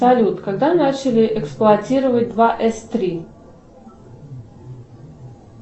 салют когда начали эксплуатировать два эс три